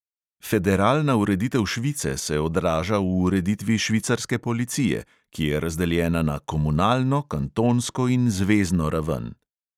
Federalna ureditev švice se odraža v ureditvi švicarske policije, ki je razdeljena na komunalno, kantonsko in zvezno raven.